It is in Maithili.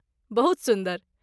बहुत सुन्दर।